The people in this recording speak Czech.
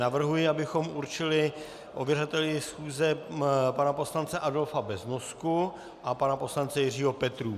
Navrhuji, abychom určili ověřovateli schůze pana poslance Adolfa Beznosku a pana poslance Jiřího Petrů.